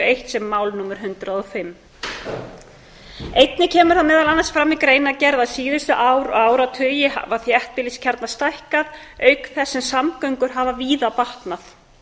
eitt sem mál númer hundrað og fimm einnig kemur það meðal annars fram í greinargerð að síðustu ár og áratugi hafa þéttbýliskjarnar stækkað auk þess sem samgöngur hafa víða batnað